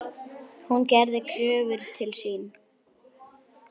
Hún gerði kröfur til sín.